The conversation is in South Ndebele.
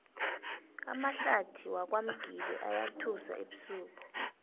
amahlathi wakwamgibe ayathusa ebusuku